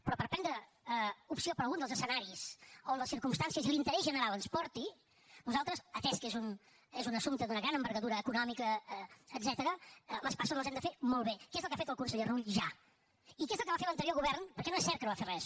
però per prendre opció per algun dels escenaris on les circumstàncies i l’interès general ens porti nosaltres atès que és un assumpte d’una gran envergadura econòmica etcètera les passes les hem de fer molt bé que és el que ha fet el conseller rull ja i que és el que va fer l’anterior govern perquè no és cert que no va fer res